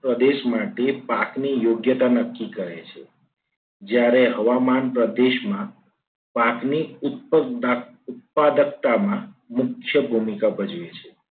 પ્રદેશ માટે પાકની યોગ્યતા નક્કી કરે છે. જ્યારે હવામાન પ્રદેશમાં પાકની ઉત્પકવતા ઉત્પાદકતામાં કે ભૂમિકા ભજવે છે.